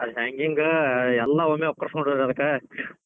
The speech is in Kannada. ಆದ್ hanging ಎಲ್ಲಾ ಒಮ್ಮೆ ವಾಕರ್ಸೊಂಡೇತಿ ಅದಕ್,